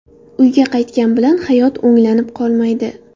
Uyga qaytgan bilan hayot o‘nglanib qolmaydi.